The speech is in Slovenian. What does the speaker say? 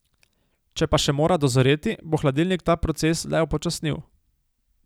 Če pa še mora dozoreti, bo hladilnik ta proces le upočasnil.